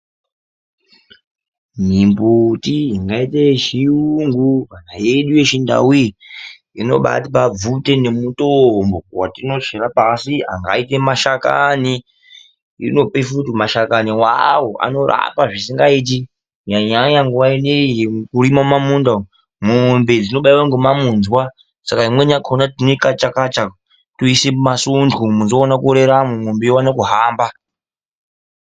Mimbuti ingaite yechiyungu kana yedu yechindau iyi. Inobatipa bvute nemitombo yatinochera pashi angaite mashakani. Inopefuti mashakani vavo anorapa zvisingaiti kunyanya-nyanya nguva inoiyi yekurima mumamunda umu. Mombe dzinobaiva nemamunzwa saka imweni yakona tinokacha-kacha toise mumasondo toona kureramo mombe ione kuhamba.